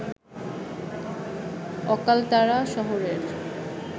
অকালতারা শহরের